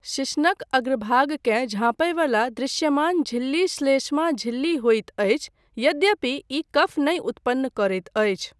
शिश्नक अग्रभागकेँ झँपय वला दृश्यमान झिल्ली श्लेष्मा झिल्ली होइत अछि यद्यपि ई कफ नहि उत्पन्न करैत अछि।